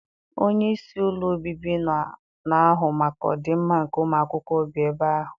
Onyeisi ụlọ obibi na-ahụ maka ọdị mma nke ụmụakwụkwọ bi ebe ahụ.